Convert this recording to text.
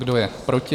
Kdo je proti?